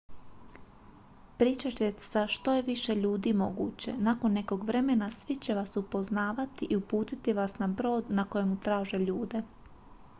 pričajte sa što je više ljudi moguće nakon nekog vremena svi će vas poznavati i uputiti vas na brod na kojemu traže ljude